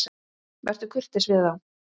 Vertu kurteis við þá!